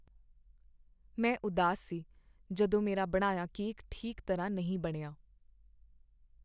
ਮੈਂ ਉਦਾਸ ਸੀ ਜਦੋਂ ਮੇਰਾ ਬਣਾਇਆ ਕੇਕ ਠੀਕ ਤਰ੍ਹਾਂ ਨਹੀਂ ਬਣਿਆ।